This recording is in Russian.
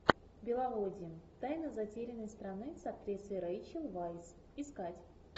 беловодье тайна затерянной страны с актрисой рэйчел вайс искать